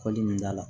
Kɔli min da la